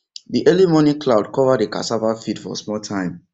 the early morning cloud cover the cassava field for small time